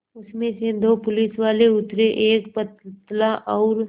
उसमें से दो पुलिसवाले उतरे एक पतला और